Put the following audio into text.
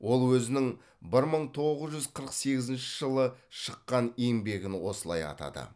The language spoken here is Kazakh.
ол өзінің бір мың тоғыз жүз қырық сегізінші жылы шыққан еңбегін осылай атады